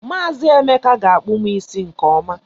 Maazi Emeka ga akpu m isi nke ọma.